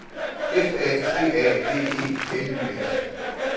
F A C A D E L Y S